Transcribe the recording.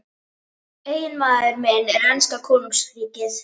Eiginmaður minn er enska konungsríkið.